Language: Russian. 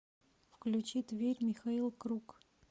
включи тверь михаил круг